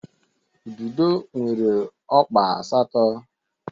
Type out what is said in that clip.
Ududo nwere ọkpa asatọ